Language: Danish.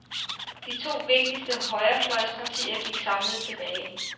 De to vigtigste højrefløjspartier gik samlet tilbage.